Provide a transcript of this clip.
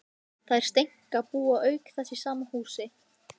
Þær Steinka búa auk þess í sama húsi.